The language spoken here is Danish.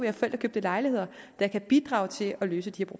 har forældrekøbte lejligheder der kan bidrage til at løse de